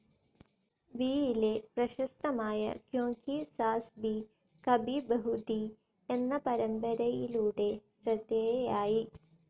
വിയിലെ പ്രശസ്തമായ ക്യോംകി സാസ് ഭി കഭി ബഹു ഥീ എന്ന പരമ്പരയിലൂടെ ശ്രദ്ധേയയായി.